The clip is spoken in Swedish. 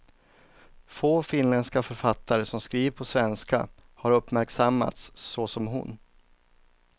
Få finländska författare som skriver på svenska har uppmärksammats så som hon.